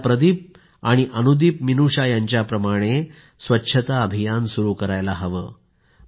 आपल्याला प्रदीप आणि अनुदीपमिनूषा यांच्याप्रमाणे स्वच्छता अभियान सुरु करायला हवं